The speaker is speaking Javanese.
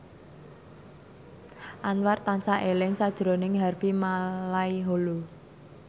Anwar tansah eling sakjroning Harvey Malaiholo